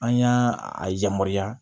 An y'a a yamaruya